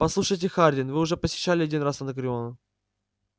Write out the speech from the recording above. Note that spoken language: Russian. послушайте хардин вы уже посещали один раз анакреон